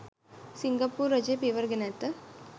සිංගප්පූරු රජය පියවර ගෙන ඇත